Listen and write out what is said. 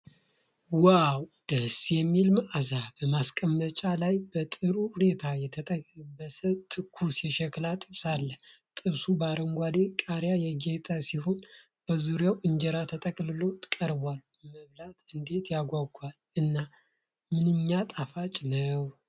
"ዋው! ደስ የሚል መዓዛ!" በማስቀመጫ ላይ በጥሩ ሁኔታ የተጠበሰ (ትኩስ) የሸክላ ጥብስ አለ። ጥብሱ በአረንጓዴ ቃሪያ ያጌጠ ሲሆን፣ በዙሪያው እንጀራ ተጠቅልሎ ቀርቧል። መብሉ "እንዴት ያጓጓል!" እና "ምንኛ ጣፋጭ!" ነው።